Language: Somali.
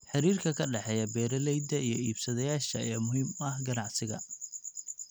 Xiriirka ka dhexeeya beeralayda iyo iibsadayaasha ayaa muhiim u ah ganacsiga.